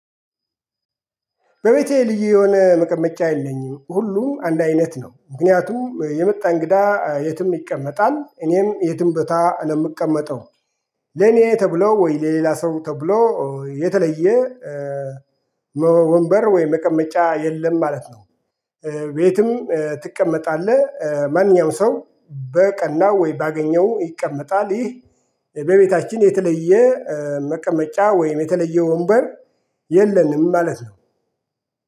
በቤቴ ልዩ የሆነ መቀመጫ የልኝም ሁሉ አንድ አይነት ነው ምክንያቱም የምጣ እንግዳ የትም ይቀመጣል እኔም የትም ቦታ ነው የምቀመጠው። ለኔ ተብሎ ወይም ለሌላ ሰው ተብሎ የተለየ ወንበር ወይ መቀመጫ የለም ማለት ነው። ቤትም ትቀመጣለህ ማንኛውም ሰው በቀና ወይም ባገኘው ይቀመጣል። ይህ በቤታችን የተለየ መቀመጫ ወይም የተለየ ወንበር የለንም ማለት ነው